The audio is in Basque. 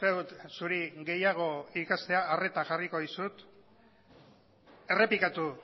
dut zuri gehiago ikastea arreta jarriko dizut errepikatu